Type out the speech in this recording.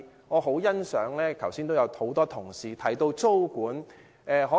我很認同剛才多位同事提到的租務管制。